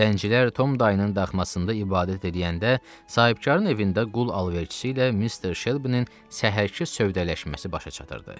Zəncirlər Tom dayının daxmasında ibadət eləyəndə, sahibkarın evində qul alverçisi ilə mister Şelbinin səhərki sövdələşməsi başa çatırdı.